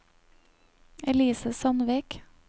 Elise Sandvik